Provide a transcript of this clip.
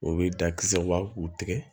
O bɛ da kisɛ u b'a u tigɛ